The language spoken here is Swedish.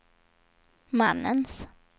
mannens